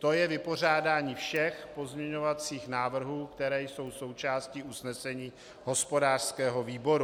To je vypořádání všech pozměňovacích návrhů, které jsou součástí usnesení hospodářského výboru.